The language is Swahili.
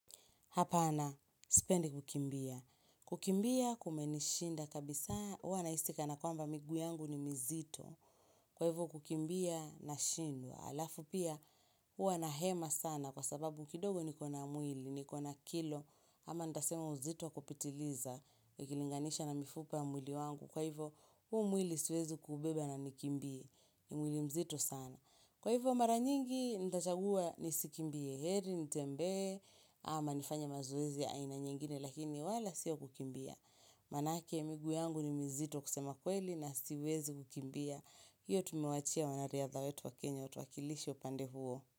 Hapana, sipendi kukimbia. Kukimbia kumenishinda kabisa huwa na hisi kana kwamba miguu yangu ni mizito. Kwa hivyo kukimbia nashindwa. Alafu pia huwa nahema sana kwa sababu kidogo nikona mwili, nikona kilo. Ama ntasema uzito kupitiliza. Ukilinganisha na mifupa ya mwili wangu. Kwa hivyo huu mwili siwezi kubeba na nikimbie. Ni mwili mzito sana. Kwa hivyo mara nyingi ntachagua nisikimbie. Heri nitembee ama nifanye mazoezi ya aina nyingine lakini wala sio kukimbia. Manake miguu yangu ni mizito kusema kweli na siwezi kukimbia. Hiyo tumewaachia wanariadha wetu wa Kenya watuwakilishe pande huo.